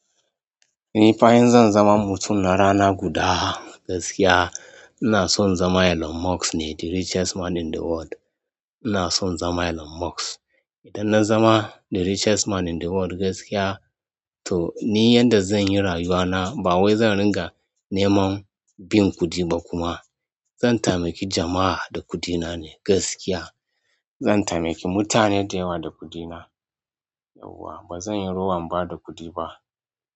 Ni fa in zan zama mutum na rana guda, gaskiya ina so in zama Elon Musk ne, the richest man in the world. Ina so in zama Elon Musk. Idan na zama the richest man in the world gaskiya, to ni yanda zan yi rayuwa na, ba wai zan ringa neman bin kuɗi ba kuma. Zan taimaki jama'a da kuɗina ne gaskiya. Zan taimaki mutane da yawa da kuɗina. Yauwa ba zan yi rowan ba da kuɗi ba.